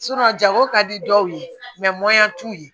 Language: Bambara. jago ka di dɔw ye t'u ye